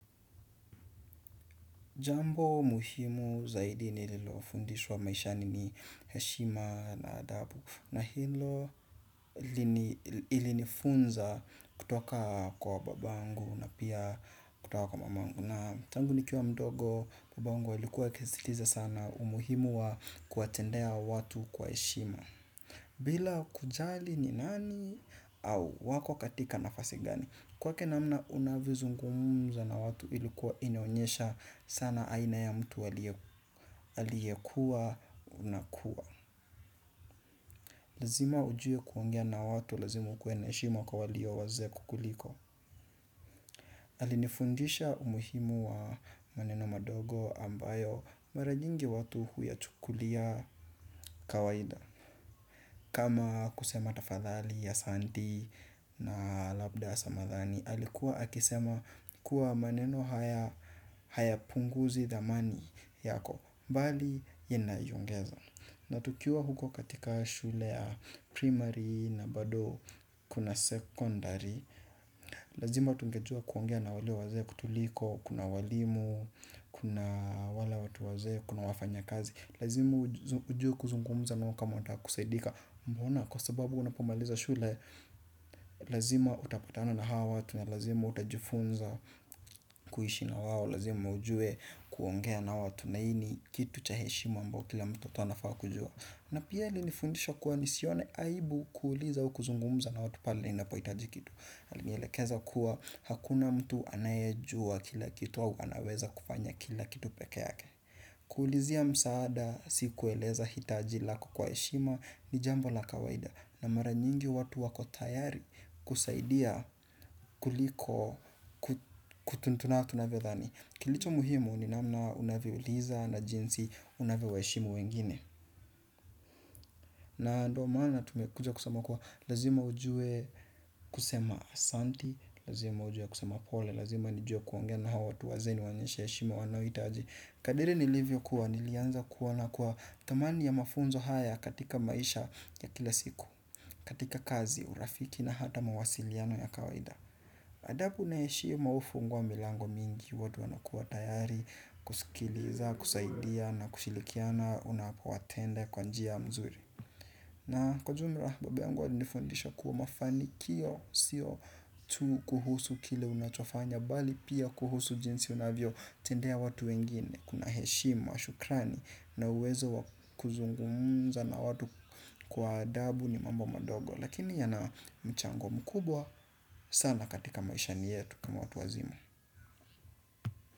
Jambo muhimu zaidi nililofundishwa maishani ni heshima na adabu na hilo ilinifunza kutoka kwa babangu na pia kutoka kwa mamangu na tangu nikiwa mdogo babangu ilikuwa akisisitiza sana umuhimu wa kuwatendea watu kwa heshima. Bila kujali ni nani au wako katika nafasi gani. Kwake namna unavyozungumza na watu ilikuwa inionyesha sana aina ya mtu aliyekuwa unakuwa. Lazima ujue kuongea na watu lazima ukue na heshima kwa walio wazee kukuliko. Alinifundisha umuhimu wa maneno madogo ambayo mara nyingi watu huya chukulia kawaida. Kama kusema tafadhali asanti na labda ya samahani, alikuwa akisema kuwa maneno haya hayapunguzi dhamani yako, bali ina iongeza. Na tukiuwa huko katika shule ya primary na bado kuna secondary, lazima tungejua kuongea na wale wazee kutuliko, kuna walimu, kuna wale watu wazee, kuna wafanya kazi. Lazima ujue kuzungumuza nao kama unataka kusaidika. Mbona kwa sababu unapomaliza shule. Lazima utapatana na hawa watu na lazima utajifunza kuishi na wao. Lazima ujue kuongea na watu. Na hii ni kitu cha heshimu ambao kila mtoto anafaa kujua. Na pia alinifundisha kuwa ni sione aibu kuuliza u kuzungumuza na watu pale ninapohitaji kitu alinielekeza kuwa hakuna mtu anayejua kila kitu au anaweza kufanya kila kitu peke yake. Kuulizia msaada si kueleza hitaji lako kwa heshima ni jambo la kawaida. Na mara nyingi watu wako tayari kusaidia kuliko kutuntunaa navyodhani. Kilicho muhimu ni namna unavyouliza na jinsi unavyo wa heshimu wengine. Na ndio maana tumekuja kusoma kuwa lazima ujue kusema asanti. Lazima ujue kusema pole, lazima nijue kuongea na hao watu wazee ni waonyesha heshima wanahitaji. Kadiri nilivyo kuwa nilianza kuona kuwa thamani ya mafunzo haya katika maisha ya kila siku, katika kazi, urafiki na hata mawasiliano ya kawaida. Adabu na heshima hufungua milango mingi, watu wana kuwa tayari, kusikiliza, kusaidia na kushilikiana unapowatende kwa njia mzuri. Na kwa jumla, babu yangu wa alinifundisha kuwa mafanikio, siyo tu kuhusu kile unachofanya, bali pia kuhusu jinsi unavyo tendea watu wengine, kuna heshima, shukrani, na uwezo wa kuzungumza na watu kwa adabu ni mambo madogo, lakini yana mchango mkubwa sana katika maishani yetu kama watu wazima.